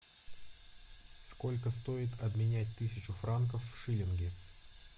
сколько стоит обменять тысячу франков в шиллинги